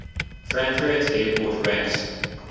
frankfurt airport ranks